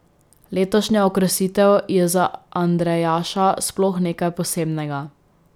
Letošnja okrasitev je za Andrejaša sploh nekaj posebnega.